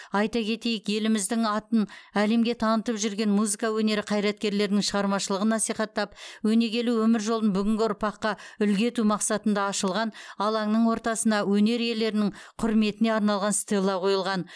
айта кетейік еліміздің атын әлемге танытып жүрген музыка өнері қайраткерлерінің шығармашылығын насихаттап өнегелі өмір жолын бүгінгі ұрпаққа үлгі ету мақсатында ашылған алаңның ортасына өнер иелерінің құрметіне арналған стелла қойылған